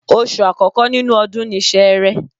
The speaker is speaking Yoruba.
Oṣù àkọ́kọ́ nínú ọdún ni Sẹẹrẹ